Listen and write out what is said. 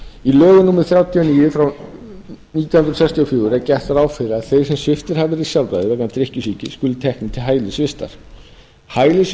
í lögum númer þrjátíu og níu nítján hundruð sextíu og fjögur er gert ráð fyrir að þeir sem sviptir hafi verið sjálfræði vegna drykkjusýki skuli teknir til hælisvistar